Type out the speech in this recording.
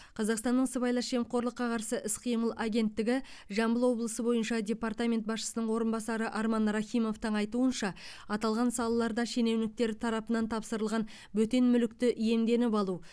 қазақстанның сыбайлас жемқорлыққа қарсы іс қимыл агенттігі жамбыл облысы бойынша департаменті басшысының орынбасары арман рахимовтың айтуынша аталған салаларда шенеуніктер тарапынан тапсырылған бөтен мүлікті иемденіп алу